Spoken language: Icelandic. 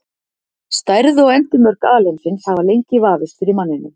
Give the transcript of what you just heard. Stærð og endimörk alheimsins hafa lengi vafist fyrir manninum.